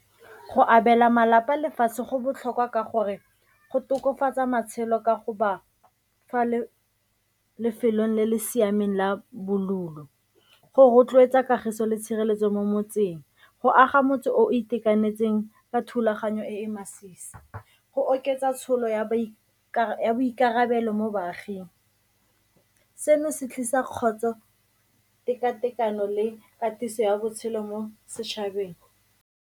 Go abela malapa lefatshe go botlhokwa ka gore go tokafatsa matshelo ka go ba fa lefelong le le siameng la , go rotloetsa kagiso le tshireletso mo motseng go aga motho o itekanetseng ka thulaganyo e e masisi, go oketsa tsholo ya boikarabelo mo baaging. Seno se tlisa kgotso, tekatekano le katiso ya botshelo mo setšhabeng.